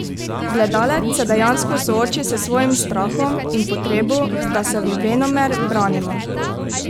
Gledalec se dejansko sooči s svojim strahom in potrebo, da se venomer branimo.